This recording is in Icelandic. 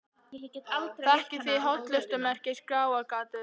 Þekkið þið hollustumerkið Skráargatið?